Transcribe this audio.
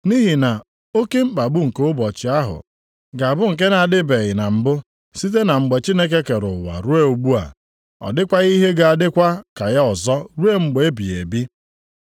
Nʼihi na oke mkpagbu nke ụbọchị ahụ ga-abụ nke na-adịbeghị na mbụ site na mgbe Chineke kere ụwa ruo ugbu a. Ọ dịkwaghị ihe ga-adịkwa ka ya ọzọ ruo mgbe ebighị ebi.